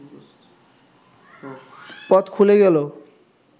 পথ খুলে গেল